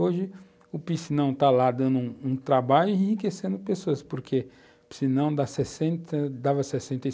Hoje, o piscinão está lá dando um um trabalho e enriquecendo pessoas, porque o piscinão dá sessenta, dava sessenta